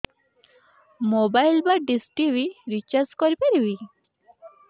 mobile ବା dish TV recharge କରି ପାରିବି